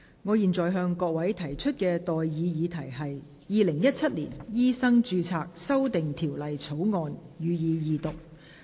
我現在向各位提出的待議議題是：《2017年醫生註冊條例草案》，予以二讀。